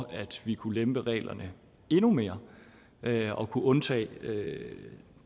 at vi kunne lempe reglerne endnu mere og kunne undtage